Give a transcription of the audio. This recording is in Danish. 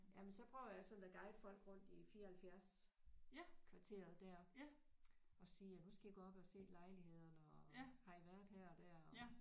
Jamen så prøver jeg sådan at guide folk rundt i 74 kvarteret der og sige ja nu skal I gå op og se lejlighederne og har I været her og der og